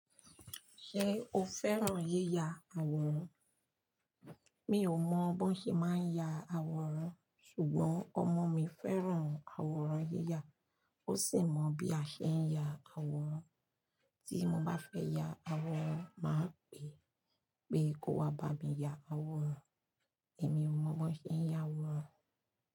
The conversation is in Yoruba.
Ṣé o fẹ́ràn yíya àwòrán? Mi ò mọ bó ṣe máa ń ya àwòrán ṣùgbọ́n ọmọ mi fẹ́ràn àwòrán yíya, ó sì mọ bí a ṣe ń ya àwòrán. Tí mo bá fẹ́ ya àwòrán máa pè é pé ko wá bá mi ya àwòrán. Èmi ò mọ bó ṣe ń ya àwòrán.